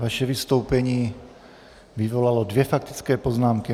Vaše vystoupení vyvolalo dvě faktické poznámky.